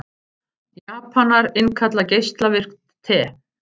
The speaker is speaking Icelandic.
Japanar innkalla geislavirkt te